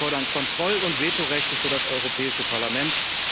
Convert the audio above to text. Wir fordern Kontroll und Vetorechte für das Europäische Parlament.